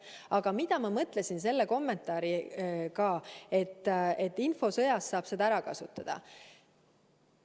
Aga mida ma mõtlesin selle kommentaariga, et infosõjas saab piirilepingut ära kasutada?